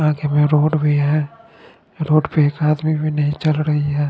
आगे मे रोड भी है रोड पे एक आदमी भी नहीं चल रही है।